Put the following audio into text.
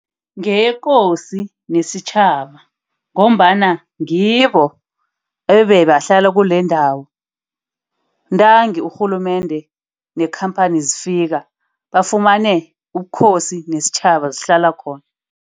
Ngeyekosini nesitjhaba ngombana ngibo ebebahlala kulendawo, ntangi urhulumende nekhamphani zifika bafumane ubukhosi nesitjhaba zihlala khona.